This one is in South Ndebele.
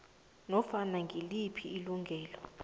nofana ngiliphi ilungelo